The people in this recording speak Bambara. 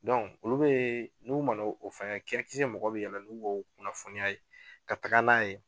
Dɔn olu be n'u mana o fɛngɛ ki akisɛ mɔgɔw be yala n'u k'o kunnafoniya ye ka taga n'a ye